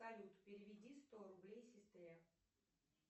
салют переведи сто рублей сестре